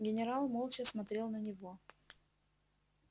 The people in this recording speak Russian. генерал молча смотрел на него